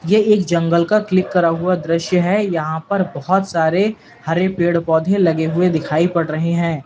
यह एक जंगल का क्लिक करा हुआ दृश्य है यहां पर बहुत सारे हरे पेड़ पौधे लगे हुए दिखाई पड़ रहे हैं।